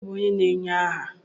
Ònye bụ onye na-enye aha?